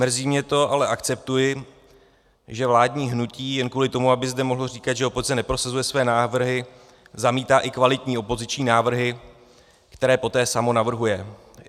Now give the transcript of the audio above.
Mrzí mě to, ale akceptuji, že vládní hnutí jen kvůli tomu, aby zde mohlo říkat, že opozice neprosazuje své návrhy, zamítá i kvalitní opoziční návrhy, které poté samo navrhuje.